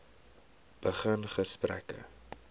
begin gesprekke